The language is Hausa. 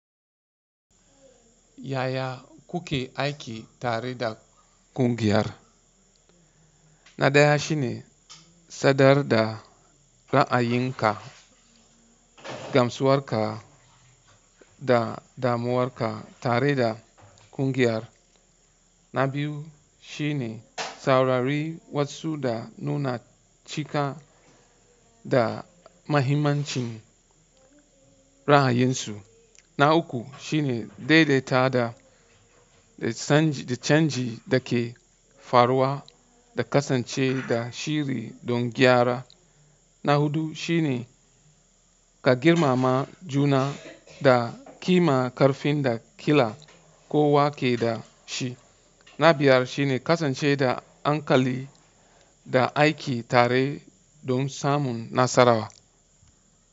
Yaya kuke aiki tare da ƙungiyar? Na ɗaya shine sadar da ra'ayinka, gamsuwarka da damuwarka tare da ƙungiyar. Na biyu shine saurari wasu da nuna cika da mahimmancin ra'ayinsu. Na uku shine daidaita da canji da ke faruwa da kasance da shiri don gyara. Na huɗu shine ka girmama juna da kima ƙarfin da ƙila kowa ke da shi. Na biyar shine kasance da ankali da aiki tare don samun nasararwa.